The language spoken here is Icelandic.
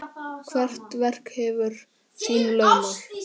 Hvert verk hefur sín lögmál.